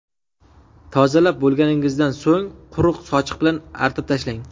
Tozalab bo‘lganingizdan so‘ng quruq sochiq bilan artib tashlang.